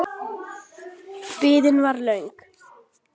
Biðin var löng.